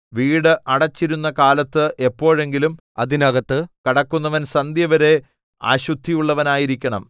വീട് അടച്ചിരുന്ന കാലത്ത് എപ്പോഴെങ്കിലും അതിനകത്ത് കടക്കുന്നവൻ സന്ധ്യവരെ അശുദ്ധിയുള്ളവനായിരിക്കണം